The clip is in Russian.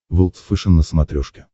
волд фэшен на смотрешке